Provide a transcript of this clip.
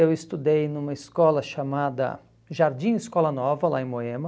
Eu estudei numa escola chamada Jardim Escola Nova, lá em Moema,